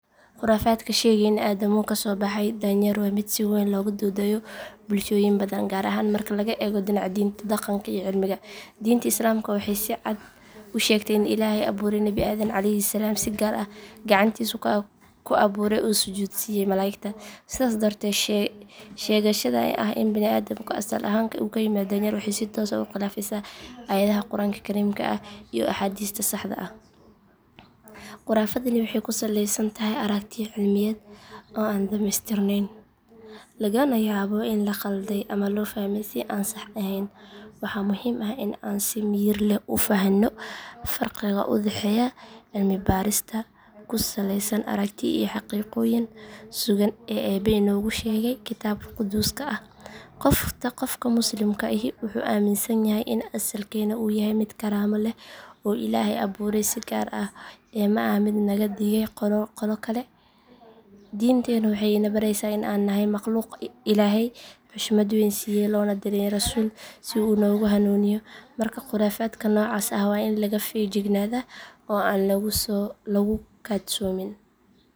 Khuraafaadka sheegaya in aadamuhu ka soo baxay daanyeer waa mid si weyn looga doodayo bulshooyin badan, gaar ahaan marka laga eego dhinaca diinta, dhaqanka, iyo cilmiga. Diinta Islaamka waxay si cad u sheegtay in Ilaahay abuuray Nabi Aadan calayhi salaam si gaar ah, gacantiisa ku abuuray oo u sujuudsiiyey malaa’igta. Sidaas darteed, sheegashada ah in bini’aadamku asal ahaan uu ka yimid daanyeer waxay si toos ah u khilaafaysaa aayadaha Qur’aanka Kariimka ah iyo axaadiista saxda ah. Khuraafadani waxay ku salaysan tahay aragtiyo cilmiyeed oo aan dhameystirnayn, lagana yaabo in la khalday ama loo fahmay si aan sax ahayn. Waxaa muhiim ah in aan si miyir leh u fahanno farqiga u dhexeeya cilmi baarisda ku saleysan aragtiyo iyo xaqiiqooyinka sugan ee Eebbe inoogu sheegay Kitaabka Quduuska ah. Qofka Muslimka ahi wuxuu aaminsan yahay in asalkeenna uu yahay mid karaamo leh oo Ilaahay abuuray si gaar ah, ee ma aha mid naga dhigay qolo kale. Diinteennu waxay ina baraysaa in aan nahay makhluuq Ilaahay xushmad weyn siiyey, loona diray rasuul si uu noogu hanuuniyo. Marka khuraafaadka noocaas ah waa in laga feejignaadaa oo aan lagu kadsoomin.